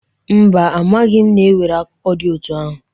Mba, amadịghị m na e nwere akụkọ dị otu ahụ.